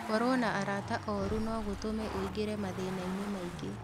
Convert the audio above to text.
Gũkorũo na arat oru no gũtũme ũingĩre mathĩna-inĩ maingĩ.